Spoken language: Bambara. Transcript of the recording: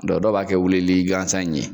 Dɔnki dɔw b'a kɛ wulili gansan in ye.